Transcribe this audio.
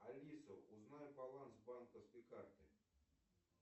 алиса узнай баланс банковской карты